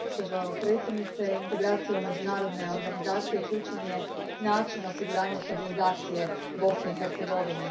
Gospođo predsjednice, integracija u međunarodne organizacije ključan je način osiguranja stabilizacije Bosne i Hercegovine.